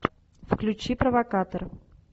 включи провокатор